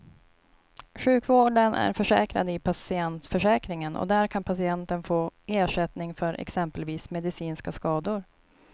Sjukvården är försäkrad i patientförsäkringen och där kan patienten få ersättning för exempelvis medicinska skador.